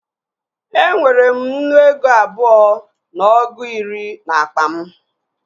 E nwere m nnu ego abụọ na ọgụ iri n'akpa m